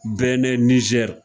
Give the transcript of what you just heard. Bɛnɛ nizɛri